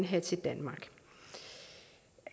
have til danmark